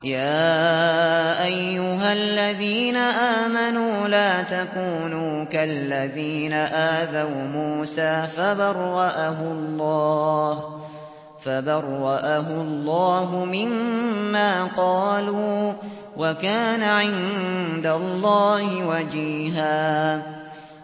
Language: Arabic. يَا أَيُّهَا الَّذِينَ آمَنُوا لَا تَكُونُوا كَالَّذِينَ آذَوْا مُوسَىٰ فَبَرَّأَهُ اللَّهُ مِمَّا قَالُوا ۚ وَكَانَ عِندَ اللَّهِ وَجِيهًا